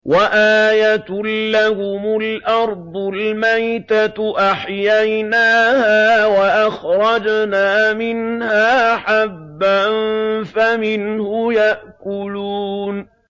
وَآيَةٌ لَّهُمُ الْأَرْضُ الْمَيْتَةُ أَحْيَيْنَاهَا وَأَخْرَجْنَا مِنْهَا حَبًّا فَمِنْهُ يَأْكُلُونَ